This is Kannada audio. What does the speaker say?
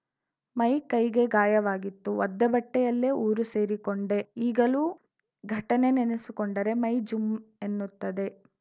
ಮೈ ಕೈಗೆ ಗಾಯವಾಗಿತ್ತು ಒದ್ದೆ ಬಟ್ಟೆಯಲ್ಲೇ ಊರು ಸೇರಿಕೊಂಡೆ ಈಗಲೂ ಘಟನೆ ನೆನೆಸಿಕೊಂಡರೆ ಮೈ ಜುಂ ಎನ್ನುತ್ತದೆ